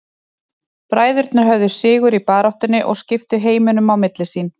Bræðurnir höfðu sigur í baráttunni og skiptu heiminum á milli sín.